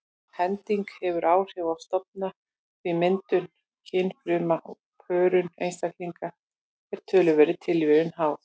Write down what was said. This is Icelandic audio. Hending hefur áhrif á stofna því myndun kynfruma og pörun einstaklinga er töluverðri tilviljun háð.